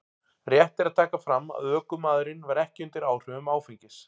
Rétt er að taka fram að ökumaðurinn var ekki undir áhrifum áfengis.